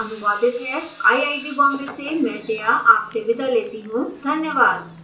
यह स्क्रिप्ट विकास द्वारा अनुवादित है आईआईटी बॉम्बे से मैं जया आपसे विदा लेती हूँ धन्यवाद